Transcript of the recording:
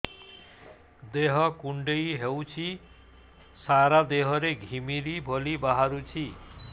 ଦେହ କୁଣ୍ଡେଇ ହେଉଛି ସାରା ଦେହ ରେ ଘିମିରି ଭଳି ବାହାରୁଛି